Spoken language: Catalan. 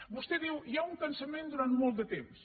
vostè diu hi ha un cansament durant molt de temps